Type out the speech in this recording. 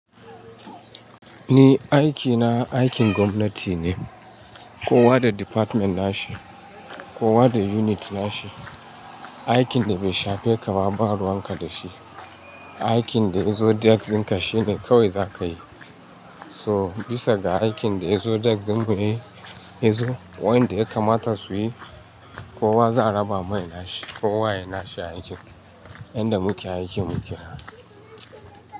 Ni aikina aikin gwamnati ne, kowa da department nashi, kowa da unit nashi, aikin da bai shafe ka ba ban ruwan ka dashi, aikin daya zo desk din ka shine kawai za ka yi. So bisa ga aikin da zo desk din mu ne yanzu wanda ya kamata su yi kowa za a raba mai nashi, kowa ya yi nashi aikin, yanda muke aikin muke naha.